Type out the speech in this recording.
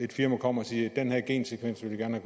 firma kommer og siger at den her gensekvens vil de gerne